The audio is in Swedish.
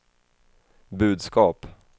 budskap